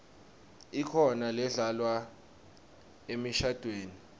ikhona ledlalwa emishadvweni